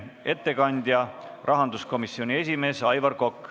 Ettekandja on rahanduskomisjoni esimees Aivar Kokk.